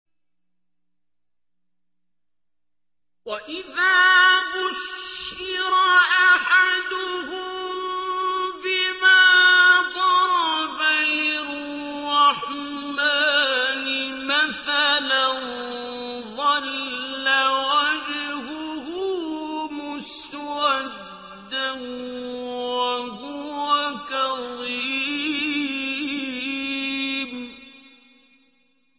وَإِذَا بُشِّرَ أَحَدُهُم بِمَا ضَرَبَ لِلرَّحْمَٰنِ مَثَلًا ظَلَّ وَجْهُهُ مُسْوَدًّا وَهُوَ كَظِيمٌ